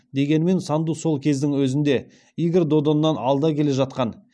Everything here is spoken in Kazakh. дегенмен санду сол кездің өзінде игорь додоннан алда келе жатқан